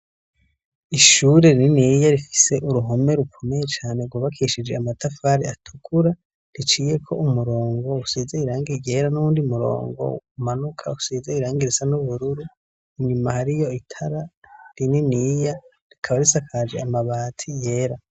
Ishure rininiya rifise uruhome rukomeye cane, ryubakishije amatafari atukura; riciyeko umurongo, usize irangi ryera, n'uwundi murongo umanuka usize irangi risa n'ubururu. Inyuma hariyo itara rininiya, rikaba risakaje amabati yera.